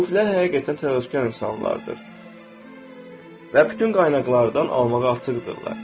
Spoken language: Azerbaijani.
Sufilər həqiqətən təvazökar insanlardır və bütün qaynaqlardan almağa açıqdırlar.